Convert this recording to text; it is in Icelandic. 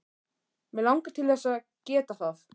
Mig langar til þess að geta það.